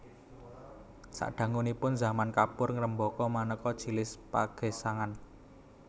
Sadangunipun zaman kapur ngrembaka manéka jinis pagesangan